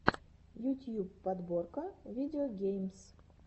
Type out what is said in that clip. ютьюб подборка видеогеймс